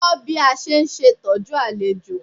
Ko bí a ṣe ń ṣe'tọ́jú àlejò.